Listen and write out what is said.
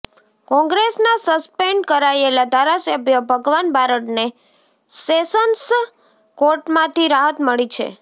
કોંગ્રેસના સસ્પેન્ડ કરાયેલા ધારાસભ્ય ભગવાન બારડને સેસન્સ કોર્ટમાંથી રાહત મળી છે